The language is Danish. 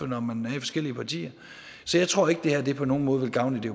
når man er i forskellige partier så jeg tror ikke at det her på nogen måde vil gavne det